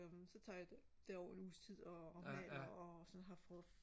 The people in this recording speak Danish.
så tager jeg derover en uges tid og har sådan har